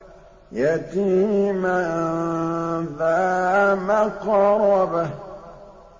يَتِيمًا ذَا مَقْرَبَةٍ